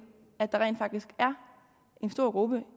at der rent faktisk er en stor gruppe